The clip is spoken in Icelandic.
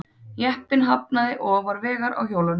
Jeppinn hafnaði ofan vegar á hjólunum